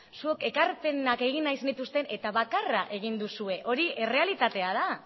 zuok ekarpenak egin nahi zenituzten eta bakarra egin duzue hori errealitatea da